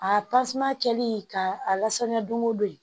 A tasuma kɛlen ka a lasɔmi don o don